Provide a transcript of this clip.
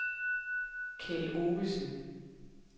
Keld Ovesen